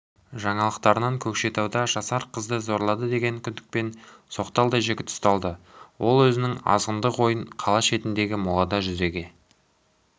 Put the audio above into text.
жаңалықтарынан көкшетауда жасар қызды зорлады деген күдікпен соқталдай жігіт ұсталды ол өзінің азғындық ойын қала шетіндегі молада жүзеге